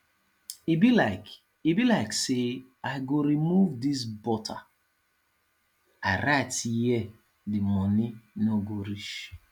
e be like e be like say i go remove dis butter i write here the money no go reach